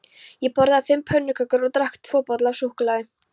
Ég borðaði fimm pönnukökur og drakk tvo bolla af súkkulaði.